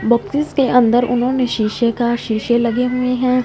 Boxes के अंदर उन्होंने शीशे का शीशे लगे हुए हैं।